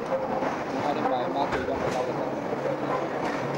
handu harĩ maĩ ma kũigana magetha nĩ mogererekaga